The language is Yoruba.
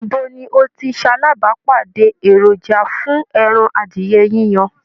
Ibo ni o ti ṣalábàápàdé èròjà fún ẹran adìyẹ yiyan